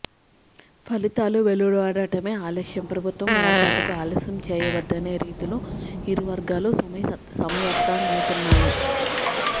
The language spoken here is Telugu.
ఫలితాలు వెలువడటమే ఆలస్యం ప్రభుత్వ ఏర్పాటుకు ఆలస్యం చేయవద్దనే రీతిలో ఇరు వర్గాలు సమాయత్తమవుతున్నాయి